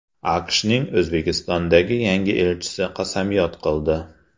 AQShning O‘zbekistondagi yangi elchisi qasamyod qildi.